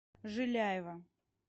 жиляева